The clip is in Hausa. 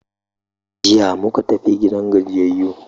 Jiya muka tafi gidan gajiyayu.